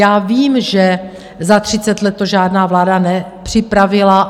Já vím, že za třicet let to žádná vláda nepřipravila.